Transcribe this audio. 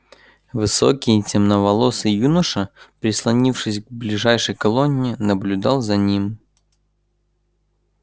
высокий темноволосый юноша прислонившись к ближайшей колонне и наблюдал за ним